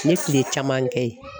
N ye kile caman kɛ ye.